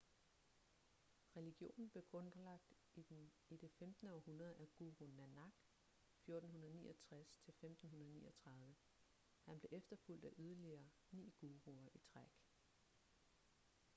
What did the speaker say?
religionen blev grundlagt i det 15. århundrede af guru nanak 1469–1539. han blev efterfulgt af yderligere ni guruer i træk